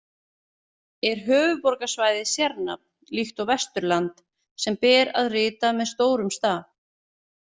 Er höfuðborgarsvæðið sérnafn líkt og Vesturland, sem ber að rita með stórum staf?